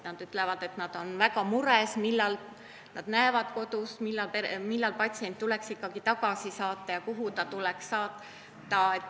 Nad ütlevad, et nad on mures ega tea, millal ikkagi tuleks patsient tagasi saata ja kuhu ta tuleks saata.